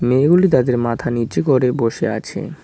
মেয়েগুলি তাদের মাথা নীচু করে বসে আছে।